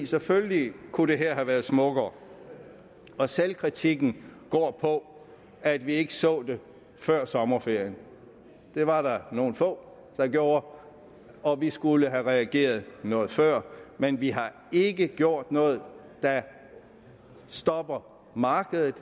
selvfølgelig kunne det her have været smukkere og selvkritikken går på at vi ikke så det før sommeren det var der nogle få der gjorde og vi skulle have reageret noget før men vi har ikke gjort noget der stopper markedet